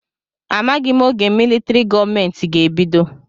Amaghị m oge militrị gọọmenti ga-ebido.